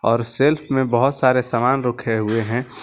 और सेल्फ में बहोत सारे सामान रखे हुए हैं।